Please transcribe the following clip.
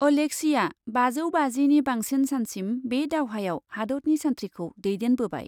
Alexia बाजौ बाजिनि बांसिन सानसिम बे दावहायाव हादतनि सान्थ्रिखौ दैदेनबोबाय।